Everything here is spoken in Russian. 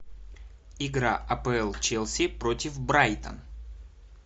игра апл челси против брайтон